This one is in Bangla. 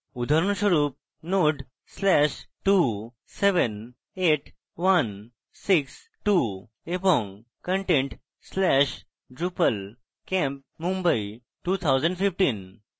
উদাহরণস্বরূপ node/278162 এবং content/drupalcampmumbai2015